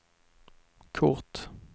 kort